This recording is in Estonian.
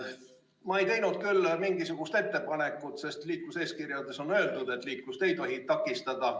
Ma ei teinud mingisugust ettepanekut, sest liikluseeskirjas on öeldud, et liiklust ei tohi takistada.